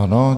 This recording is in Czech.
Ano.